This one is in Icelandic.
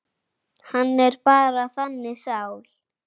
Hann er bara þannig sál.